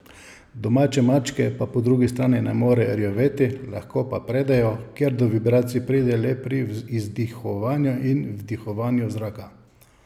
Domače mačke pa po drugi strani ne morejo rjoveti, lahko pa predejo, ker do vibracij pride le pri izdihovanju in vdihovanju zraka.